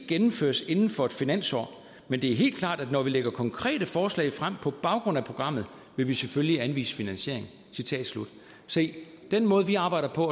gennemføres inden for et finansår men det er helt klart at når vi lægger konkrete forslag frem på baggrund af programmet vil vi selvfølgelig anvise finansiering se den måde vi arbejder på